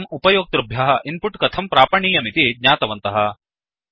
वयम् उपयोक्तृभ्यः इन्पुट् कथं प्रापणीयमिति ज्ञातवन्तः